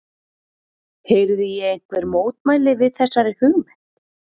Heyri ég einhver mótmæli við þessari hugmynd?